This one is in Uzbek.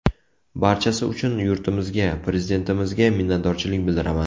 Barchasi uchun yurtimizga, prezidentimizga minnatdorchilik bildiraman.